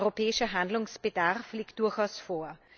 Europäischer Handlungsbedarf liegt durchaus vor.